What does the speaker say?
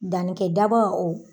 Dannikɛ daba o